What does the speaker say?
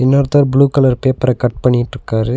ஒருத்தர் blue colour பேப்பர cut பண்ணிட்டிருக்காரு.